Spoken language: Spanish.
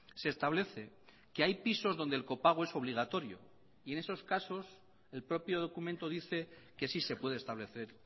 se establece que hay pisos donde el copago es obligatorio y en esos casos el propio documento dice que sí se puede establecer